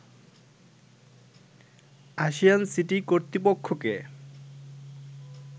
ASEAN city কর্তৃপক্ষকে